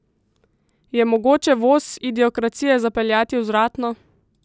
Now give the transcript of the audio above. Je mogoče voz idiokracije zapeljati vzvratno?